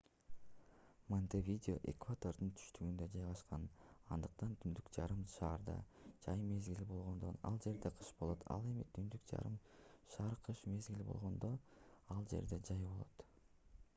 монтевидео экватордун түштүгүндө жайгашкан андыктан түндүк жарым шарда жай мезгили болгондо ал жерде кыш болот ал эми түндүк жарым шарда кыш мезгили болгондо ал жерде жай болот